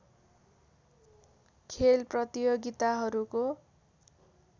खेल प्रतियोगिताहरूको